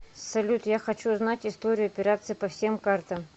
салют я хочу узнать историю операций по всем картам